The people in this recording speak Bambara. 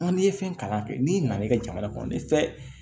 n'i ye fɛn kalan kɛ n'i nana i ka jamana kɔnɔ ni tɛ